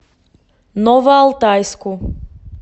новоалтайску